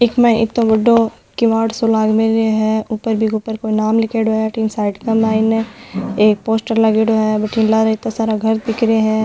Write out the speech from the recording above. इके मायने इतो बड़ो किवाड़ सो लाग मेलीयो है ऊपर बीके ऊपर नाम लिखडो है अठीने साईड के मायने एक पोस्टर लागिडो है बठीने लारे इता सारा घर दिख रिया है।